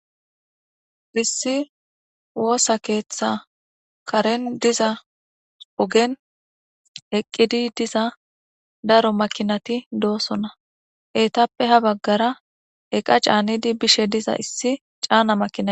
issi woosa keeththa karen diza ogen eqqidi diza daro makinati doosonna eetappe ha baggara eqa caanidi bishe diza issi caana makinay